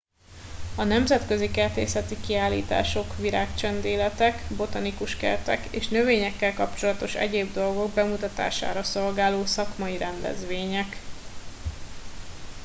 a nemzetközi kertészeti kiállítások virágcsendéletek botanikus kertek és növényekkel kapcsolatos egyéb dolgok bemutatására szolgáló szakmai rendezvények